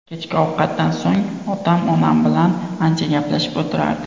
Kechki ovqatdan so‘ng otam onam bilan ancha gaplashib o‘tirardi.